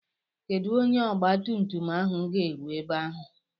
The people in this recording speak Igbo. Kedu mgbe ọgba tum tum ahụ ga-eru ebe ahụ?